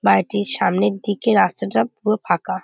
বাড়িটির সামনের দিকে রাস্তাটা পুরো ফাঁকা।